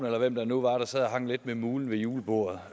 eller hvem det nu var der sad og hang lidt med mulen ved julebordet